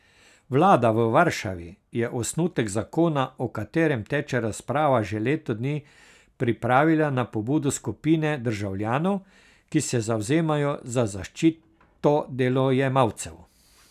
Vlada v Varšavi je osnutek zakona, o katerem teče razprava že leto dni, pripravila na pobudo skupine državljanov, ki se zavzemajo za zaščito delojemalcev.